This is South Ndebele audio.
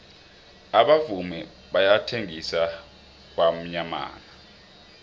abavumi bayathengisa kwamyamana